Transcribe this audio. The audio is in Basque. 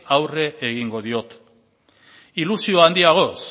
aurre egingo diot ilusio handiagoz